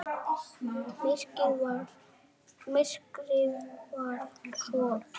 Myrkrið var svo þykkt.